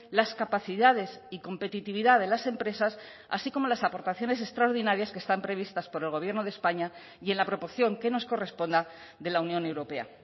las capacidades y competitividad de las empresas así como las aportaciones extraordinarias que están previstas por el gobierno de españa y en la proporción que nos corresponda de la unión europea